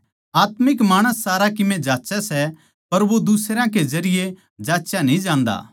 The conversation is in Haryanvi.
आत्मिक माणस सारा कीमे जाँच्चै सै पर वो दुसरयां के जरिये जाँचया न्ही जान्दा